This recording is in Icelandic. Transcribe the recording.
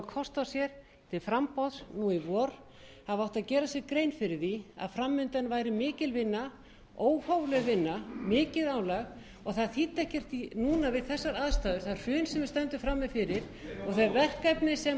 kost á sér til framboðs í vor hafi átt að gera sér grein fyrir því að fram undan væri mikil vinna óhófleg vinna mikið álag og það þýddi ekki núna við þessar aðstæður það hrun sem við stöndum frammi fyrir og þau verkefni sem